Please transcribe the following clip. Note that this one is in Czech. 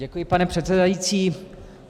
Děkuji, pane předsedající.